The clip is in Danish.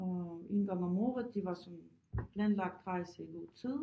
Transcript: Og en gang om året det var sådan planlagt rejse i god tid